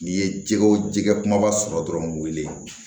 N'i ye jɛgɛ jɛgɛ kumaba sɔrɔ dɔrɔn